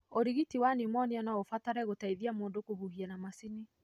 ũrigiti wa pneumonia no ũbatare gũteithia mũndu kũhuhia na macini.